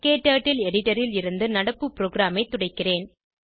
க்டர்ட்டில் எடிட்டர் ல் இருந்து நடப்பு ப்ரோகிராமைத் துடைக்கிறேன்